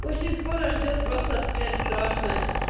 очень скоро ждёт просто смерть страшная